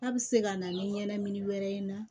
A bɛ se ka na ni ɲɛnɛmini wɛrɛ ye